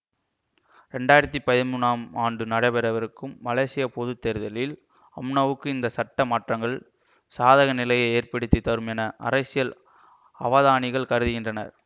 ரெண்டாயிரத்தி பதிமூனாம் ஆண்டில் நடைபெறவிருக்கும் மலேசிய பொது தேர்தலில் அம்னாவுக்கு இந்த சட்ட மாற்றங்கள் சாதக நிலையை ஏற்படுத்தி தரும் என அரசியல் அவதானிகள் கருதுகின்றனர்